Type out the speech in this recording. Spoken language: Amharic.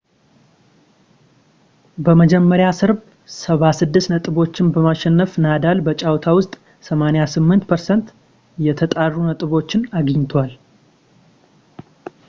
በመጀመሪያው ሰርብ 76 ነጥቦችን በማሸነፍ ናዳል በጨዋታ ውስጥ 88% የተጣሩ ነጥቦች አግኝቷል